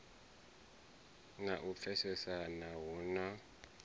na u pfesesana hu na